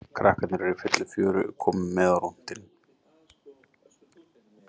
Krakkarnir eru í fullu fjöri og komu með á rúntinn.